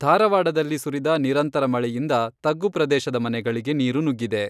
ಧಾರವಾಡದಲ್ಲಿ ಸುರಿದ ನಿರಂತರ ಮಳೆಯಿಂದ ತಗ್ಗು ಪ್ರದೇಶದ ಮನೆಗಳಿಗೆ ನೀರು ನುಗ್ಗಿದೆ.